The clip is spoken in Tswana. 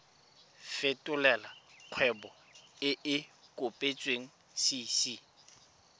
fetolela kgwebo e e kopetswengcc